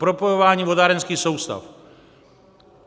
Propojování vodárenských soustav.